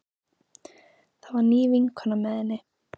Það var ný vinkona með henni.